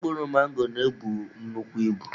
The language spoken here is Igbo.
Mkpụrụ mango na-ebu nnukwu ibu.